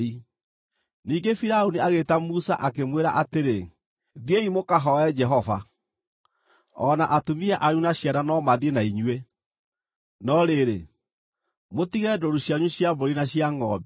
Ningĩ Firaũni agĩĩta Musa, akĩmwĩra atĩrĩ, “Thiĩi mũkahooe Jehova. O na atumia anyu na ciana no mathiĩ na inyuĩ; no rĩrĩ, mũtige ndũũru cianyu cia mbũri na cia ngʼombe.”